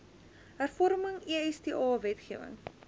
hervorming esta wetgewing